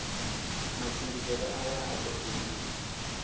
matshimbidzele aya a do buliwa